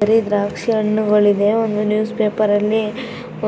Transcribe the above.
ಕರಿ ದ್ರಾಕ್ಷಿ ಹಣ್ಣುಗಳಿವೆ. ಒಂದು ನ್ಯೂಸ್ ಪೇಪರ್ ಅಲ್ಲಿ